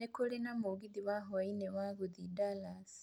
Nĩ kũrĩ na mũgithi wa hwaĩinĩ wa gũthiĩ Dallas